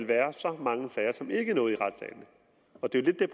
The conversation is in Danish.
være så mange sager som ikke når ud i retssalene og det